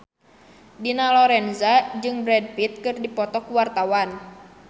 Dina Lorenza jeung Brad Pitt keur dipoto ku wartawan